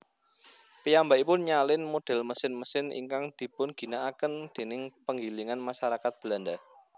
Piyambakipun nyalin model mesin mesin ingkang dipunginakaken déning penggilingan masarakat Belanda